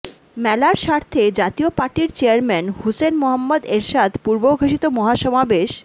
মেলার স্বার্থে জাতীয় পার্টির চেয়ারম্যান হুসেইন মুহম্মদ এরশাদ পূর্বঘোষিত মহাসমাবেশ